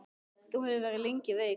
Þú hefur verið lengi veik.